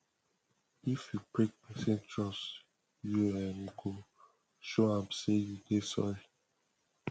if you break pesin trust you um go show am sey you dey sorry